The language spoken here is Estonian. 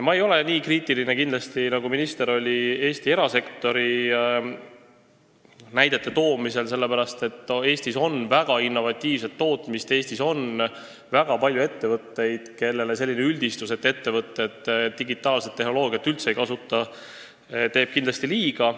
Ma ei ole kindlasti nii kriitiline, nagu oli minister Eesti erasektori kohta näidete toomisel, sest Eestis on väga innovatiivset tootmist, Eestis on väga palju ettevõtteid, kellele selline üldistus, et ettevõtted digitaalset tehnoloogiat üldse ei kasuta, teeb kindlasti liiga.